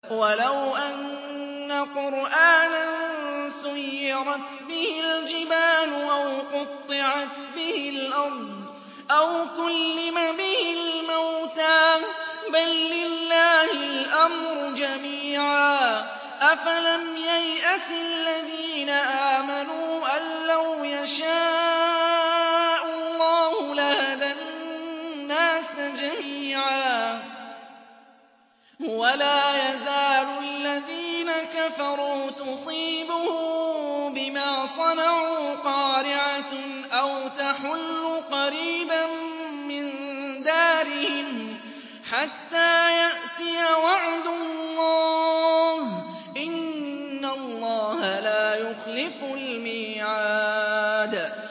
وَلَوْ أَنَّ قُرْآنًا سُيِّرَتْ بِهِ الْجِبَالُ أَوْ قُطِّعَتْ بِهِ الْأَرْضُ أَوْ كُلِّمَ بِهِ الْمَوْتَىٰ ۗ بَل لِّلَّهِ الْأَمْرُ جَمِيعًا ۗ أَفَلَمْ يَيْأَسِ الَّذِينَ آمَنُوا أَن لَّوْ يَشَاءُ اللَّهُ لَهَدَى النَّاسَ جَمِيعًا ۗ وَلَا يَزَالُ الَّذِينَ كَفَرُوا تُصِيبُهُم بِمَا صَنَعُوا قَارِعَةٌ أَوْ تَحُلُّ قَرِيبًا مِّن دَارِهِمْ حَتَّىٰ يَأْتِيَ وَعْدُ اللَّهِ ۚ إِنَّ اللَّهَ لَا يُخْلِفُ الْمِيعَادَ